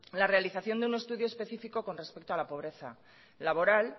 la realización de un estudio específico con respecto a la pobreza laboral